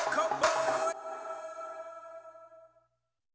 þá